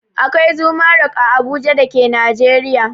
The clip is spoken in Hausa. Akwai Zuma rock a Abuja da ke Najeriya.